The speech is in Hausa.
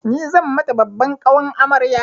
Ni zan mata babban ƙawan amarya.